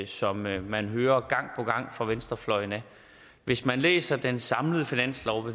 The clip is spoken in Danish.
som man man hører gang på gang fra venstrefløjen hvis man læser den samlede finanslov og